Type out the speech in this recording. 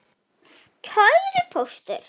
Kæri Póstur!